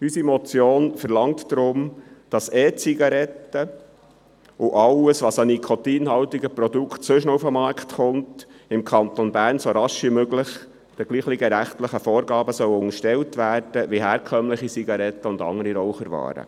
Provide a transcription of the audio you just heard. Unsere Motion verlangt deshalb, dass E-Zigaretten und alle weiteren nikotinhaltigen Produkte im Kanton Bern so rasch wie möglich denselben rechtlichen Vorgaben unterstellt werden, wie herkömmliche Zigaretten und Raucherwaren.